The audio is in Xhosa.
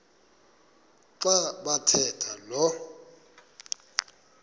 xa bathetha lo